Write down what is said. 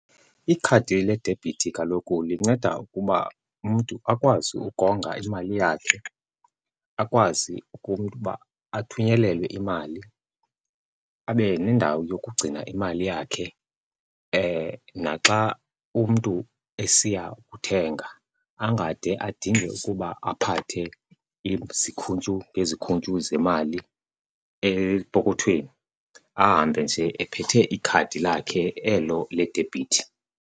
Ikhadi ledebhithi kaloku linceda ukuba umntu akwazi ukonga imali yakhe, akwazi umntu ukuba athunyelelwe imali, abe nendawo yokugcina imali yakhe. Naxa umntu esiya kuthenga angade adinge ukuba aphathe izikhuntyu ngezikhuntyu zemali epokothweni, ahambe nje ephethe ikhadi lakhe elo ledebhithi.